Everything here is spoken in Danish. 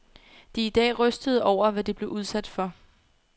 De er i dag rystede over, hvad de blev udsat for.